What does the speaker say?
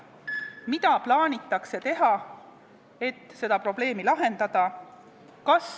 Mida plaanitakse teha, et seda probleemi lahendada?